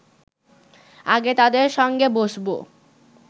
আগে তাদের সঙ্গে বসব